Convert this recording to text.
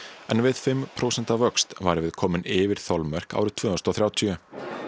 en við fimm prósenta vöxt værum við komin yfir þolmörk árið tvö þúsund og þrjátíu